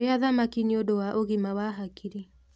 Rĩa thamaki nĩũndũ wa ũgima wa hakiri